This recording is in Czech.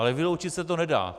Ale vyloučit se to nedá.